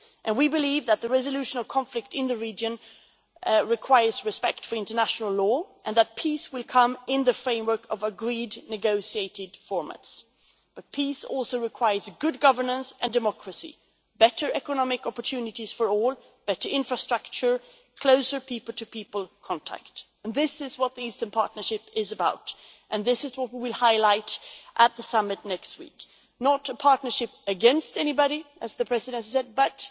We believe that the resolution of conflict in the region requires respect for international law and that peace will come in the framework of agreed negotiated formats. But peace also requires good governance and democracy, better economic opportunities for all, better infrastructure and closer people to people contact. This is what the Eastern Partnership is about and this is what we will highlight at the summit next week not a partnership against anybody, as the Presidency said,